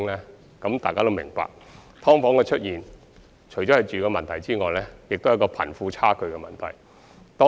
相信大家也明白，"劏房"的出現除涉及居住問題，亦和貧富差距問題有關。